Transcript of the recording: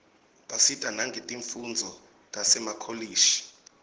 basita nangetifundvo tasemakolishi